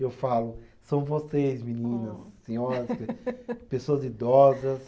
Eu falo, são vocês, meninas, senhoras, pe pessoas idosas